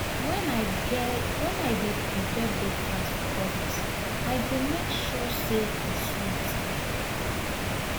when i dey prepare breakfast for others i go make sure say e sweet.